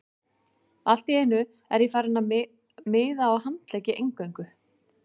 Allt í einu er ég farinn að miða á handleggi eingöngu.